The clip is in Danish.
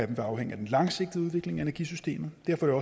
vil afhænge af den langsigtede udvikling af energisystemet derfor er